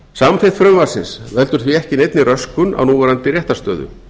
samþykkt frumvarpsins veldur því ekki neinni röskun á núverandi réttarstöðu